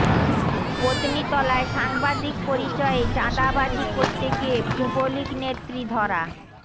পত্নীতলায় সাংবাদিক পরিচয়ে চাঁদাবাজি করতে গিয়ে যুবলীগ নেত্রী ধরা